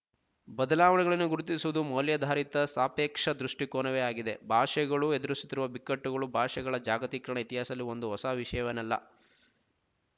ಬದಲಾವಣೆಗಳನ್ನು ಗುರುತಿಸುವುದು ಮೌಲ್ಯಾಧಾರಿತ ಸಾಪೇಕ್ಷ ದೃಷ್ಟಿಕೋನವೇ ಆಗಿದೆ ಭಾಷೆಗಳು ಎದುರಿಸುತ್ತಿರುವ ಬಿಕ್ಕಟ್ಟುಗಳು ಭಾಷೆಗಳ ಜಾಗತಿಕ ಇತಿಹಾಸದಲ್ಲಿ ಒಂದು ಹೊಸ ವಿಶಯವೇನಲ್ಲ